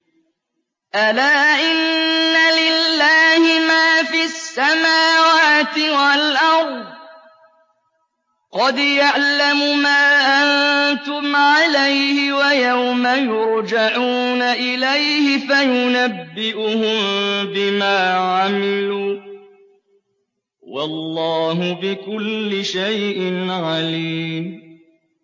أَلَا إِنَّ لِلَّهِ مَا فِي السَّمَاوَاتِ وَالْأَرْضِ ۖ قَدْ يَعْلَمُ مَا أَنتُمْ عَلَيْهِ وَيَوْمَ يُرْجَعُونَ إِلَيْهِ فَيُنَبِّئُهُم بِمَا عَمِلُوا ۗ وَاللَّهُ بِكُلِّ شَيْءٍ عَلِيمٌ